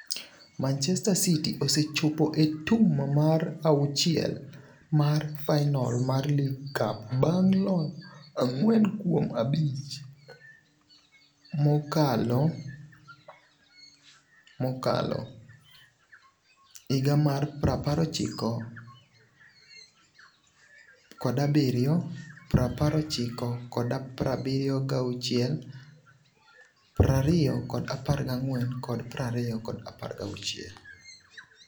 Manchester City osechopo e tum mar auchiel mar final mar League Cup bang' loyo ang'wen kuom abich mokalo - 1970, 1976, 2014 kod 2016.